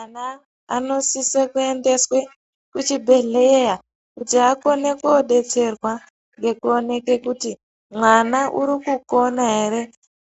Ana anosise kuendeswe kuchibhedhlera kuti akone kodetserwa ngekuoneke kuti mwana urikukona ere